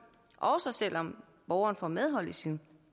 også selv om borgeren får medhold i sin